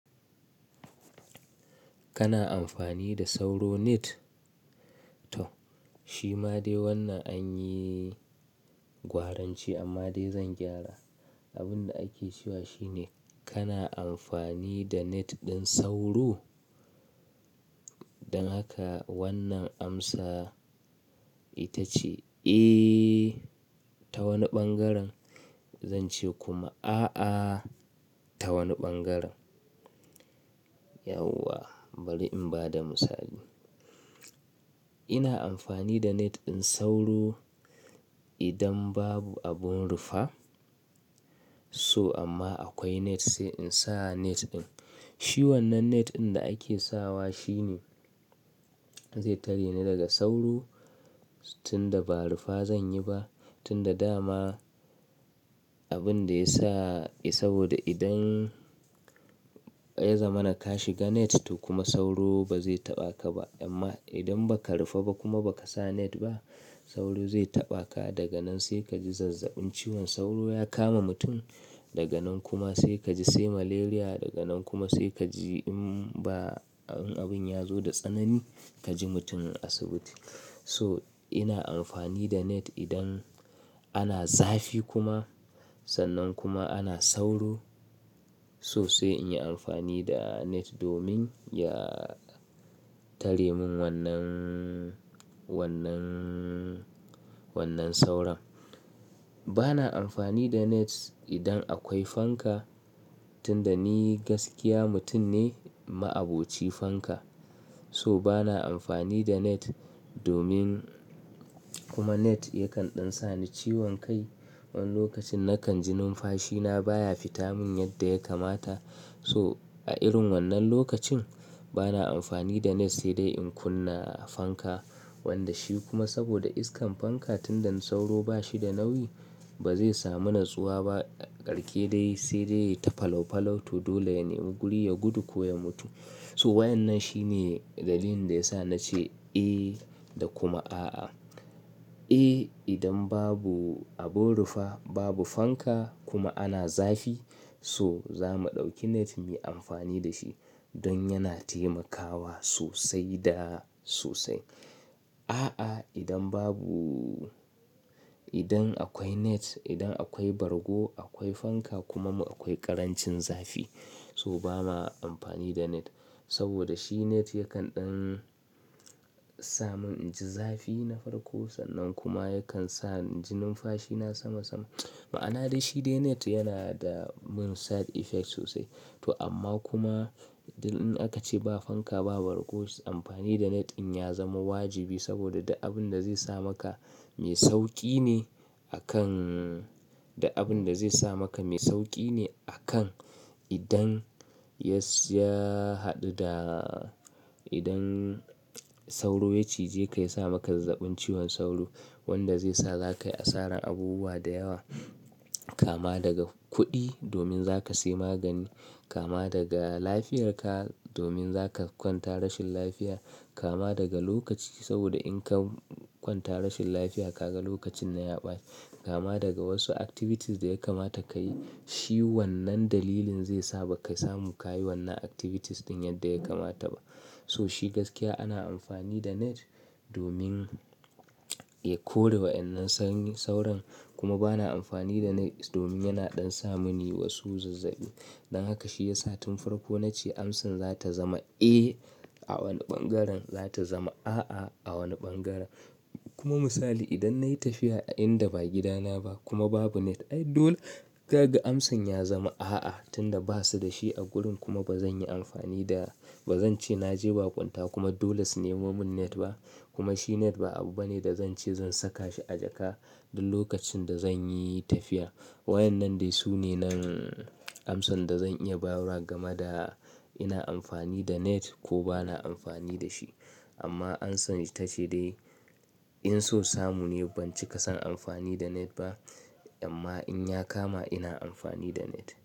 Kana amfani da sauro net? To shi ma dai wannan an yi gwaranci amma dai zan gyara. Abin da ake cewa shine kana amfani da net ɗin sauro? Don haka wannan amsa ita ce, "Eh" ta wani ɓangaren. Zan ce kuma "A'a" ta wani ɓangaren. Yauwa bari in ba da misali. Ina amfani da net ɗin sauro idan babu abin rufa. So amma akwai net sai in sa net ɗin. Shi wannan net ɗin da ake sawa shine zai tare ni daga sauro tunda ba rufa zan yi ba. Tunda dama abin da ya sa, is, saboda idan ya zama na ka shiga net to kuma sauro ba zai taɓa ka ba. Amma idan ba ka rufa ba kuma ba ka sa net ba sauro zai taɓa ka. Daga nan sai ka ji zazzabin ciwon sauro ya kama mutum. Daga nan kuma sai ka ji, sai malaria. Daga nan kuma sai ka ji in ba, in abin ya zo da tsanani ka ji mutumin asibiti. So ina amfani da net idan ana zafi kuma sannan kuma ana sauro. So sai in yi amfani da net domin ya tare mun wannan, wannan, wannan sauron. Ba na amfani da net idan akwai fanka, tunda ni gaskiya mutum ne ma'aboci fanka. So ba na amfani da net domin kuma net yakan ɗan sa ni ciwon kai. Wani lokacin nakan ji numfashi na baya fita mun yadda ya kamata. So a irin wannan lokacin ba na amfani da net sai dai in kunna a fanka. Wanda shi kuma saboda iskan fanka tunda sauro ba shi da nauyi ba zai samu natsuwa ba karke dai sai dai ya yi ta falaufalau to dole ya nemi guri ya gudu ko ya mutu. So wa'annan shine dalilin da ya sa na ce "Eh" da kuma "A'a". "Eh" idan babu abin rufa, babu fanka kuma ana zafi so za mu ɗauki net mu yi amfani da shi don yana taimakawa sosai da sosai. "A'a" idan babu-- idan akwai net, idan akwai bargo, akwai fanka kuma akwai ƙarancin zafi so ba ma amfani da net. Saboda shi net yakan ɗan sa mun inji zafi na farko sannan kuma yakan sa inji numfashi na sama sama. Ma'ana da shi dai net yana da min side effect sosai. To amma kuma idan aka ce ba fanka, ba bargo, amfani da net in ya zama wajibi saboda duk abin da zai sa maka mai sauƙi ne a kan, da abin da zai sa maka mai sauƙi ne a kan idan ya, ya haɗu da, idan sauro ya cije ka ya sa maka zazzabin ciwon sauro wanda zai sa za ka yi asarar abubuwa da yawa. Kama daga kuɗi domin za ka sayi magani, kama daga lafiyarka domin za ka kwanta rashin lafiya, kama daga lokaci saboda in ka kwanta rashin lafiya ka ga lokacin na ya ɓace. Kama daga wasu activities da ya kamata ka yi. Shi wannan dalilin zai saba ka samu ka yi wannan activities ɗin yadda ya kamata ba. So shi gaskiya ana amfani da net domin ya kore waɗannan sanyi, sauron kuma ba na amfani da net domin yana ɗan sa mani wasu zazzaɓi. Don haka shi ya sa tun farko na ce amsar za ta zama "Eh" a wani ɓangaren, za ta zama "A'a" a wani ɓangaren. Kuma misali idan na yi tafiya a inda ba gida na ba kuma babu net, ai dole kaga amsan ya zama "A'a" tunda ba su da shi a gurin kuma ba zan yi amfani da, ba zan ce na je ba kunta kuma dole su nemo mun net ba. Kuma shi net ba abu bane da zan ce zan saka shi a jaka duk lokacin da zan yi tafiya. Wa'annan dai su ne nan amsan da zan iya bayarwa gama da ina amfani da net ko ba na amfani da shi. Amma amsan ita ce dai in so samu ni ban cika son amfani da net ba. Amma in ya kama ina amfani da net.